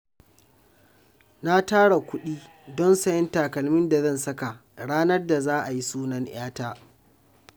Na tara kuɗi don sayen takalmin da zan saka ranar da za a yi sunan 'yata